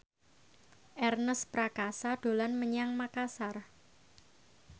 Ernest Prakasa dolan menyang Makasar